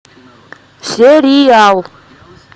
сериал